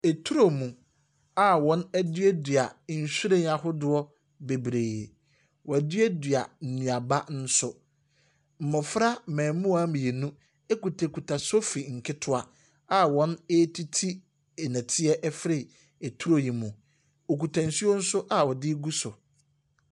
Eturo mu a wɔaduadua nhwiren ahodoɔ bebree. Wɔaduadua nnuaba nso. Mmofra mmamuwaa mmienu kutakuta nsofi nketewa a wɔretiti nneteɛ afiri turo yi mu. Wɔkita nso nso a wɔde regu so.